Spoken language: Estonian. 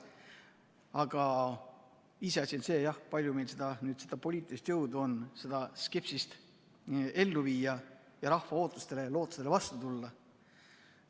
Aga iseasi on see, kui palju meil on poliitilist jõudu seda skepsist ellu viia ja rahva ootustele-lootustele vastu tulla.